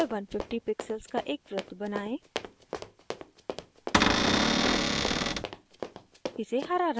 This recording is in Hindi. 150x150 pixels का एक वृत्त बनाएं